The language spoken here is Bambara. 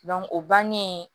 o bannen